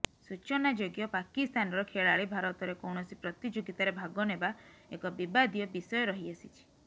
ସୂଚନାଯୋଗ୍ୟ ପାକିସ୍ତାନର ଖେଳାଳି ଭାରତରେ କୌଣସି ପ୍ରତିଯୋଗିତାରେ ଭାଗ ନେବା ଏକ ବିବାଦୀୟ ବିଷୟ ରହି ଆସିଛି